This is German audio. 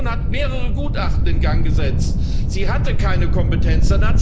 Die Kommission hat mehrere Gutachten in Gang gesetzt sie hatte keine Kompetenz.